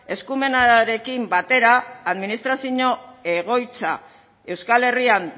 eskumenarekin batera administrazio egoitza euskal herrian